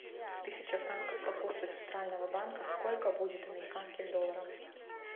тысяча франков по курсу центрального банка сколько будет американских долларов